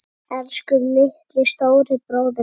Elsku litli, stóri bróðir minn.